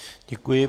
Děkuji.